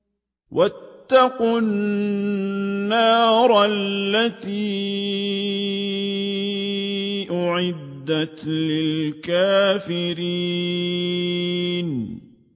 وَاتَّقُوا النَّارَ الَّتِي أُعِدَّتْ لِلْكَافِرِينَ